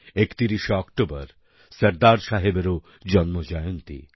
31 শে অক্টোবর সর্দারসাহেবেরও জন্ম জয়ন্তী